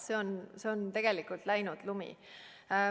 See on tegelikult läinud lumi.